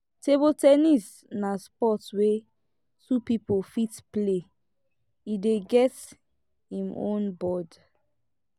table ten nis na sport wey two pipo fit play e dey get im own board